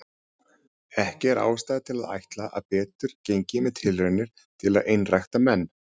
Ekki er ástæða til að ætla að betur gengi með tilraunir til að einrækta menn.